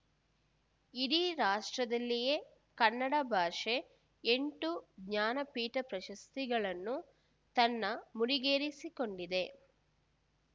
ಇಡೀ ರಾಷ್ಟ್ರದಲ್ಲಿಯೇ ಕನ್ನಡ ಭಾಷೆ ಎಂಟು ಜ್ಞಾನ ಪೀಠ ಪ್ರಶಸ್ತಿಗಳನ್ನು ತನ್ನ ಮುಡಿಗೇರಿಸಿಕೊಂಡಿದೆ